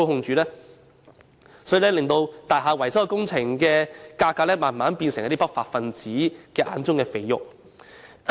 這因而令大廈維修工程的價格逐漸變成不法分子眼中的"肥肉"。